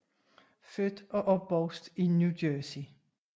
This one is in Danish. Født og opvokset i New Jercey